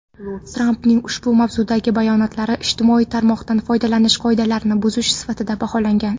Trampning ushbu mazmundagi bayonotlari ijtimoiy tarmoqdan foydalanish qoidalarini buzish sifatida baholangan.